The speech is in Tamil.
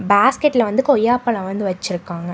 பேஸ்கட்ல வந்து கொய்யாப்பழோ வந்து வச்சுருக்காங்க.